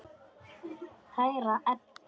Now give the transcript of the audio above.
Kæra Edda.